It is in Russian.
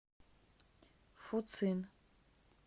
фуцин